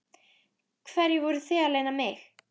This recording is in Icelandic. Hverju voruð þið að leyna mig?